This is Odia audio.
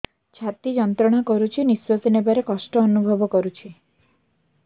ଛାତି ଯନ୍ତ୍ରଣା କରୁଛି ନିଶ୍ୱାସ ନେବାରେ କଷ୍ଟ ଅନୁଭବ କରୁଛି